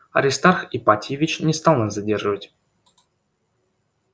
аристарх ипатьевич не стал нас задерживать